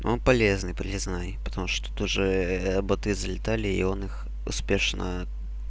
он полезный полезный потому что тоже боты залетали и он их успешно